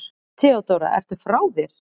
THEODÓRA: Ertu frá þér?